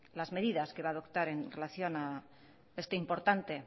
las medidas que va a adoptar en relación este importante